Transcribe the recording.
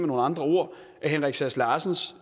nogle andre ord i henrik sass larsens